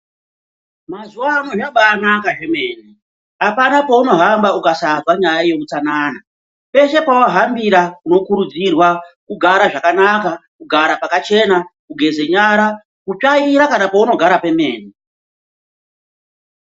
Mazuvano zvabaanaka zvemene hapana kwaunohamba ukasazwa nyaya yeutsanana, peshe pawahambira unokurudzirwa kugara zvakanaka, kugara pakachena, kugeze nyara, kutsvaira kana paunogara pemene.